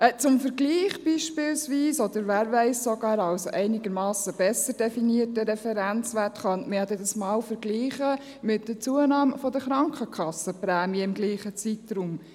Als Vergleich beispielsweise, oder wer weiss, sogar als einigermassen besser definierter Referenzwert, könnte man dies mit der Zunahme der Krankenkassenprämien im selben Zeitraum vergleichen.